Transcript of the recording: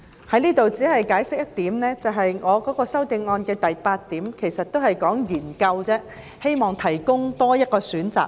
在此只解釋一點，我的修正案的第八項說的是"研究"，務求為長者提供多一個選擇。